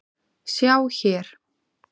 Sjá hér